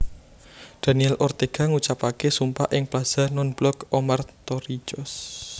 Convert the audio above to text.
Daniel Ortega ngucapaké sumpah ing Plaza Nonblok Omar Torrijos